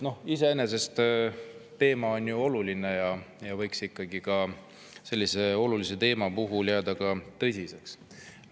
Teema on ju oluline ja ikkagi sellise olulise teema puhul võiks jääda tõsiseks.